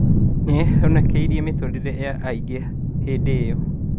Nĩahonokirie mĩtũrĩre ya aingĩ hĩndĩ ĩyo